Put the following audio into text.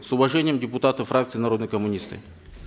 с уважением депутаты фракции народные коммунисты